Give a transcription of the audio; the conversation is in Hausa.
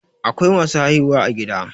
Akwai masu haihuwa a gida